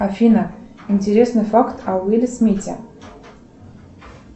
афина интересный факт о уилле смите